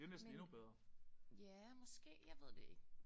Men ja måske jeg ved det ikke